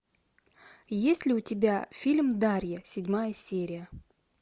есть ли у тебя фильм дарья седьмая серия